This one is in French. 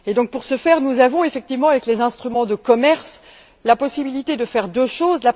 Pour ce faire, nous avons effectivement, avec les instruments de commerce, la possibilité de faire deux choses.